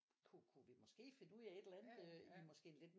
Kunne vi måske finde ud af et eller andet i måske en lidt